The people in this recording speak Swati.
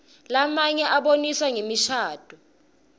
lamnye abonisa ngemishadvo